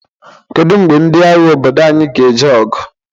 Kedu mgbe ndị agha obodo anyị ga-eje ọgụ?